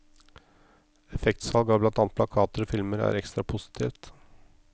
Effektsalg av blant annet plakater og filmer er ekstra positivt.